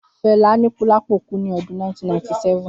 Fẹlá Aníkúlápó kú ní ọdún 1997